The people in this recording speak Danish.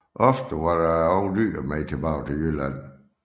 Ofte var der også dyr med tilbage til Jylland